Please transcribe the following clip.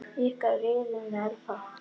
Ykkar, Iðunn Elfa.